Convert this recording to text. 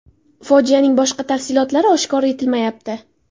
Fojianing boshqa tafsilotlari oshkor etilmayapti.